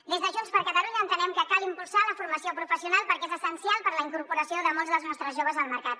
des de junts per catalunya entenem que cal impulsar la formació professional perquè és essencial per a la incorporació de molts dels nostres joves al mercat